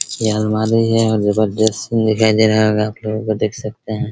यह अलमारी है और जबरदस्त दिखाई दे रहा होगा आपलोगो को देख सकते हैं ।